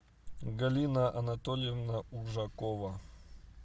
галина анатольевна ужакова